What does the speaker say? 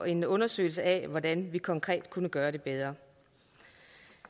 en undersøgelse af hvordan vi konkret kunne gøre det bedre